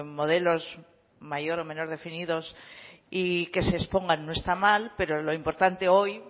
modelos mayor o menor definidos y que se expongan no está mal pero lo importante hoy